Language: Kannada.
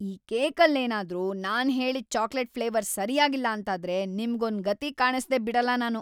ಈ ಕೇಕಲ್ಲೇನಾದ್ರೂ ನಾನ್‌ ಹೇಳಿದ್ ಚಾಕ್ಲೇಟ್‌ ಫ್ಲೇವರ್‌ ಸರ್ಯಾಗಿಲ್ಲ ಅಂತಾದ್ರೆ ನಿಮ್ಗೊಂದ್‌ ಗತಿ ಕಾಣಿಸ್ದೇ ಬಿಡಲ್ಲ ನಾನು!